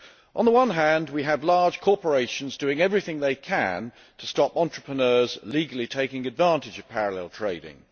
On the one hand, we have large corporations doing everything they can to stop entrepreneurs legally taking advantage of parallel trading.